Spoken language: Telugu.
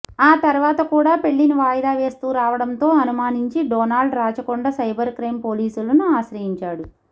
ఆ తర్వాత కూడా పెళ్లిని వాయిదా వేస్తూ రావడంతో అనుమానించి డోనాల్డ్ రాచకొండ సైబర్ క్రైమ్ పోలీసులను ఆశ్రయించాడు